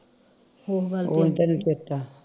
ਉਹ ਤੇ ਨੀ ਦਿੱਤਾ